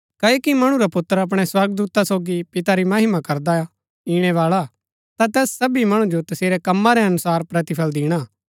क्ओकि मणु रा पुत्र अपणै स्वर्गदूता सोगी पिता री महिमा करदा ईणैबाळा हा ता तैस सबी मणु जो तसेरै कम्मा रै अनुसार प्रतिफल दिणा